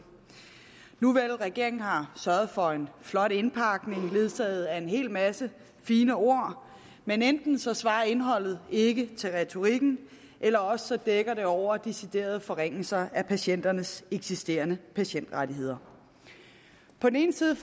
nuvel regeringen har sørget for en flot indpakning ledsaget af en hel masse fine ord men enten svarer indholdet ikke til retorikken eller også dækker den over deciderede forringelser af patienternes eksisterende patientrettigheder på den ene side